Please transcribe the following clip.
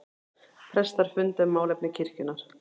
Prestar funda um málefni kirkjunnar